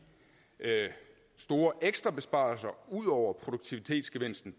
store ekstrabesparelser ud over produktivitetsgevinsten